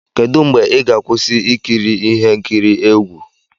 Kedu mgbe ị ga-akwụsị ikiri ihe nkiri egwu?